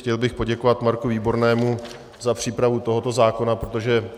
Chtěl bych poděkovat Marku Výbornému za přípravu tohoto zákona, protože